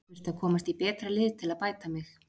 Þurfti að komast í betra lið til að bæta mig.